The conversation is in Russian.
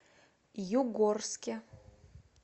югорске